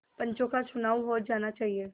पंचों का चुनाव हो जाना चाहिए